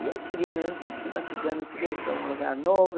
e eu queria mesmo, eu sempre fui uma cigana, eu queria ir para um lugar novo.